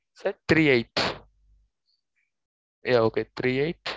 six three eight yeah okay three eight